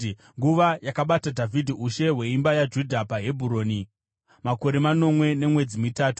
Nguva yakabata Dhavhidhi ushe hweimba yaJudha paHebhuroni yaisvika makore manomwe nemwedzi mitanhatu.